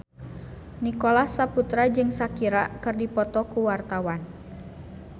Nicholas Saputra jeung Shakira keur dipoto ku wartawan